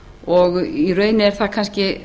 og í raun er það kannski